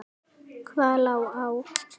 Hvað lá á?